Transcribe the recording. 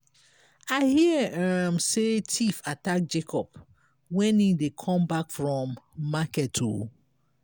i hear um say thief attack jacob wen he dey come back from market. um